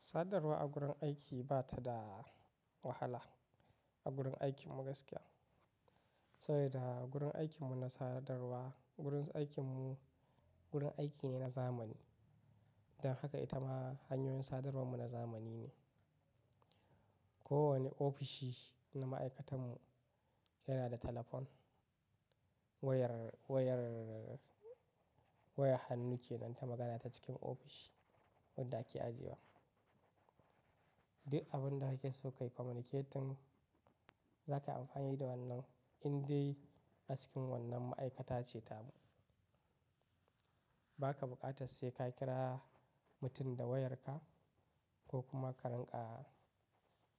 Sadarwa a gurin aiki ba ta da wahala a gurin aikin mu gaskiya. Saboda gurin aikin mu na sadarwa, gurin aikin mu gurin aiki ne na zamani. Don haka ita ma hanyoyin sadarwar mu na zamani ne. Ko wane ofishi na ma'aikatan mu yana da talafon, wayar, wayar, wayar hannu ce don ta magana ta cikin ofishi wanda ake ajiya. Duk abin da kake so ka communicate, za ka amfani da wannan in dai a cikin wannan ma'aikata ce ta mu. Ba ka bukatan sai ka kira mutum da wayarka ko kuma ka ranka ka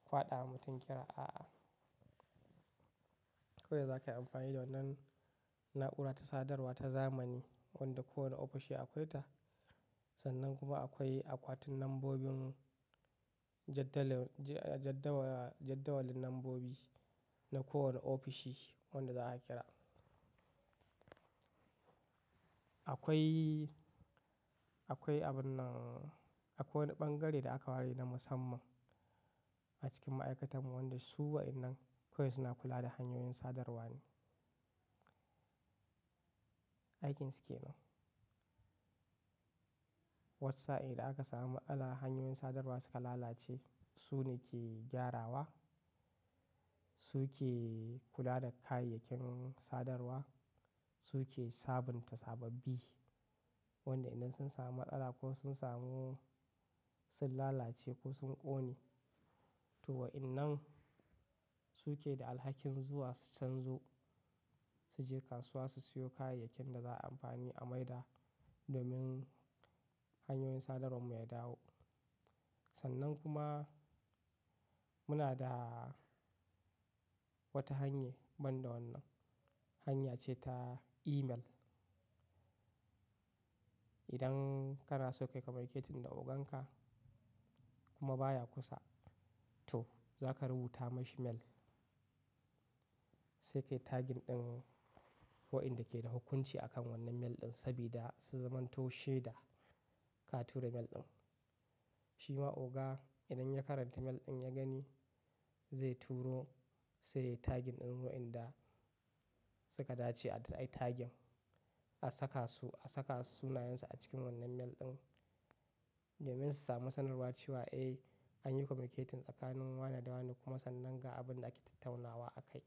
faɗa wa mutum kira, a'a. Kokda za ka yi amfani da wannan na'ura ta sadarwa ta zamani wanda kowane ofishi akwai ta. Sannan kuma akwai akwatin lambobin jaddalew-- jad-jadawala, jadawalin lambobi na kowane ofishi wanda za a kira. Akwai, akwai abun nan, akwai ɓangare da aka ware na musamman a cikin ma'aikatan mu wanda su wa'innan koyaushe na kula da hanyoyin sadarwa ne. Aikin su ke ne. Watsa idan aka samu matsala hanyoyin sadarwa suka lalace, su ne ke gyarawa, su ke kula da kayayyakin sadarwa, su ke sabunta sababbi. Wanda idan sun samu matsala ko sun samu, sun lalace ko sun ƙone, to wa'innan su ke da alhakin zuwa su canzo, su je kasuwa su siyo kayayyakin da za a yi amfani a maida domin hanyoyin sadarwar mu ya dawo. Sannan kuma muna da wata hanya banda wannan. Hanya ce ta email. Idan kana so ka communicate da ogan ka kuma baya kusa, to za ka rubuta mashi mail. Sai kai tagin ɗin wa'inda ke da hukunci akan wannan mail ɗin saboda su zamanto shade da ka tura mail ɗin. Shi ma oga idan ya karanta mail ɗin ya gani, zai turo sai yai tagin ɗin wayanda suka dace a daidai tagin. A saka su, a saka sunayensu a cikin wannan mail ɗin domin su samu sanarwa cewa, "Eh, an yi communicate tsakanin wane da wane kuma sannan ga abin da ake tattaunawa akai."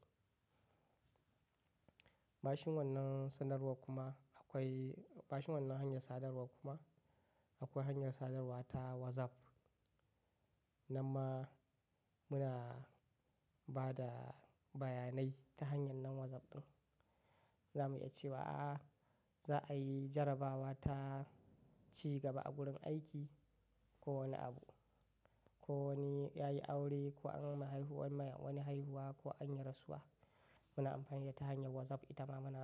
Bashin wannan sanarwa kuma akwai-- bashin wannan hanyar sadarwa kuma akwai hanyar sadarwa ta WhatsApp. Nanma muna ba da bayanai ta hanyar nan WhatsApp ɗin. Za mu iya cewa, "A'a, za a yi jarabawa ta ci gaba a gurin aiki ko wane abu. Ko wani ya yi aure ko an yi mai haihuwa, wani haihuwa ko an yi rasuwa. Muna amfani da ta hanyar WhatsApp ita ma muna.